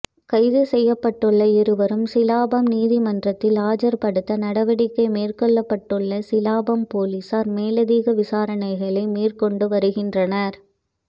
கைது செய்யப்பட்டுள்ள இருவரையும் சிலாபம் நீதிமன்றத்தில் ஆஜர்படுத்த நடவடிக்கை மேற்கொண்டுள்ள சிலாபம் பொலிஸார் மேலதிக விசாரணைகளை மேற்கொண்டு வருகின்றனர்